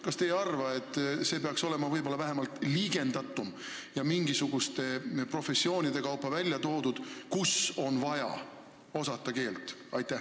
Kas te ei arva, et peaks olema vähemalt liigendatumalt ja mingisuguste professioonide kaupa välja toodud, kus on vaja keelt osata?